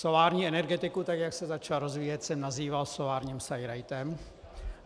Solární energetiku, tak jak se začala rozvíjet, jsem nazýval solárním sajrajtem.